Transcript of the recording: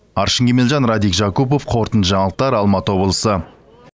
аршын кемелжан радик жакупов қорытынды жаңалықтар алматы облысы